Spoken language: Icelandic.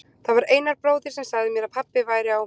Það var Einar bróðir sem sagði mér að pabbi væri á